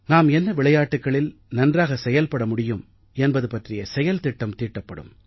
நாம் என்ன துறையில் நன்றாக செயல்பட முடியும் என்பது பற்றிய செயல்திட்டம் தீட்டப்படும்